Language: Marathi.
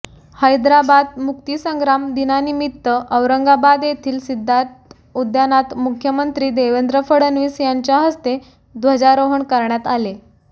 हैदराबाद मुक्तीसंग्राम दिनानिमित्त औरंगाबाद येथील सिद्धार्थ उद्यानात मुख्यमंत्री देवेंद्र फडणवीस यांच्या हस्ते ध्वजारोहण करण्यात आले